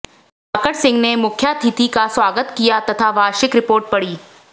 दिवाकर सिंह ने मुख्यातिथि का स्वागत किया तथा वार्षिक रिपोर्ट पड़ी